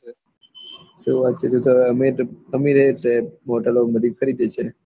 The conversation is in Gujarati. કોઈ વાતે નહી તો અમે અમે એજ છે હોટેલો કરી